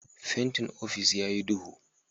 Fentin ofis ya yi duhu